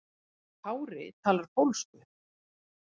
Kári talar pólsku.